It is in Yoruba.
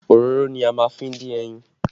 Òróró ni a lè fi dín ẹyin